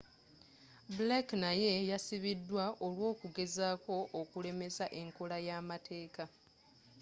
blake naye yasibidwa olw'okugezako okulemesa enkola yamateeka